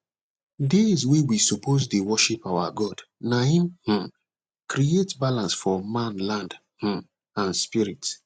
days wey we suppose dey worship our god na hin um create balance for manland um and spirit